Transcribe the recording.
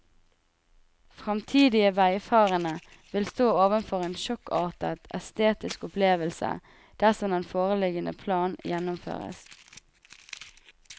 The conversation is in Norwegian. Fremtidige veifarende vil stå overfor en sjokkartet estetisk opplevelse dersom den foreliggende plan gjennomføres.